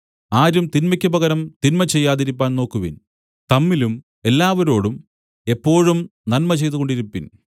ആരും തിന്മയ്ക്ക് പകരം തിന്മ ചെയ്യാതിരിപ്പാൻ നോക്കുവിൻ തമ്മിലും എല്ലാവരോടും എപ്പോഴും നന്മ ചെയ്തുകൊണ്ടിരിപ്പിൻ